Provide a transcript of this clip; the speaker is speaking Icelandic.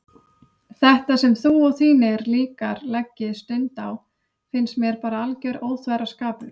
Þetta sem þú og þínir líkar leggið stund á finnst mér bara alger óþverraskapur.